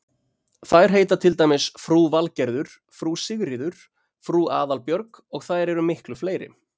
Þær heita til dæmis frú Valgerður, frú Sigríður, frú Aðalbjörg og þær eru miklu fleiri.